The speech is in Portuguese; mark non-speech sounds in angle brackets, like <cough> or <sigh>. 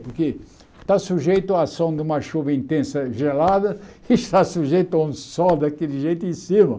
Porque está sujeito à ação de uma chuva intensa gelada e <laughs> está sujeito a um sol daquele jeito em cima.